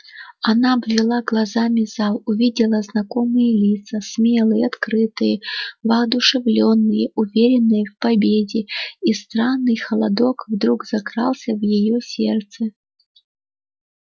она обвела глазами зал увидела знакомые лица смелые открытые воодушевлённые уверенные в победе и странный холодок вдруг закрался в её сердце